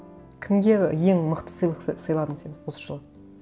кімге ең мықты сыйлық сыйладың сен осы жылы